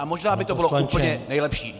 A možná by to bylo úplně nejlepší.